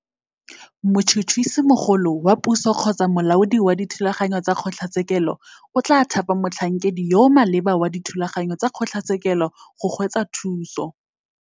Motšhotšhisimogolo wa puso kgotsa molaodi wa dithulaganyo tsa kgotlatshekelo o tla thapa motlhankedi yo o maleba wa dithulaganyo tsa kgotlatshekelo go go tswa thuso.